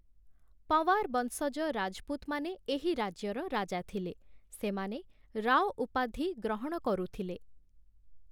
ପଂବାର ବଂଶଜ ରାଜପୁତମାନେ ଏହି ରାଜ୍ୟର ରାଜା ଥିଲେ । ସେମାନେ ରାଓ ଉପାଧି ଗ୍ରହଣ କରୁଥିଲେ ।